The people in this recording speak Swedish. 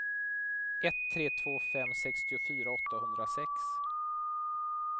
ett tre två fem sextiofyra åttahundrasex